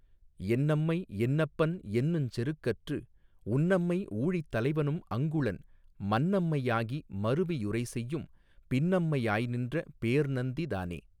என்னம்மை என்னப்பன் என்னுஞ் செருக்கற்று உன்னம்மை ஊழித் தலைவனும் அங்குளன் மன்னம்மை யாகி மருவி யுரைசெய்யும் பின்னம்மை யாய்நின்ற பேர்நந்தி தானே.